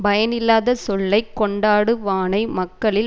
பயனில்லாத சொல்லை கொண்டாடு வானை மக்களில்